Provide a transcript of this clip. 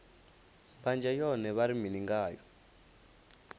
mbanzhe yone vha ri mini ngayo